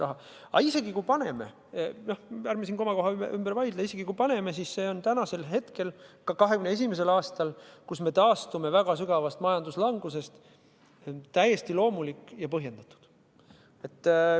Aga isegi kui paneme – ärme siin komakoha üle vaidle –, siis see on täna, ka 2021. aastal, kui me taastume väga sügavast majanduslangusest, täiesti loomulik ja põhjendatud.